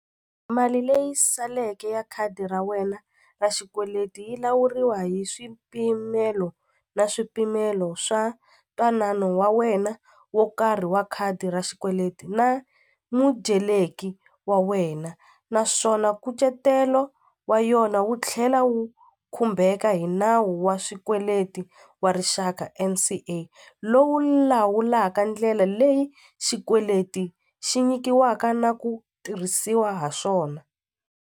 Mali leyi saleke ya khadi ra wena ra xikweleti yi lawuriwa hi swipimelo na swipimelo swa ntwanano wa wena wo karhi wa khadi ra xikweleti na mudyeleki wa wena naswona nkucetelo wa yona wu tlhela wu khumbeka hi nawu wa swikweleti wa rixaka N_C_A lowu lawulaka ndlela leyi xikweleti xi nyikiwaka na ku tirhisiwa ha swona.